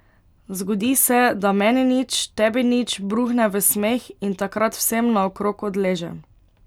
Zgodi se, da meni nič, tebi nič bruhne v smeh in takrat vsem naokrog odleže.